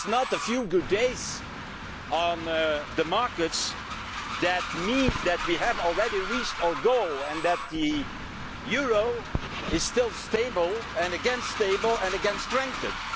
A few good days on the markets do not mean that we have already reached our goal and that the euro is still stable, and again stable, and again strengthened.